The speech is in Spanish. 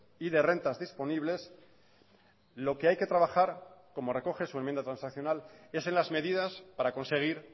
y de rentas disponibles lo que hay que trabajar como recoge su enmienda transaccional es en las medidas para conseguir